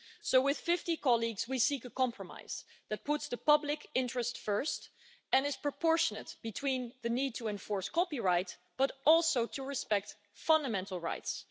So with 50 colleagues we seek a compromise that puts the public interest first and is proportionate between the need to enforce copyright but also to respect fundamental rights.